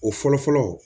O fɔlɔ fɔlɔ